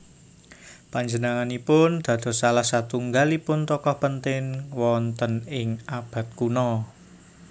Panjenenganipun dados salah satunggalipun tokoh penting wonten ing abad kuno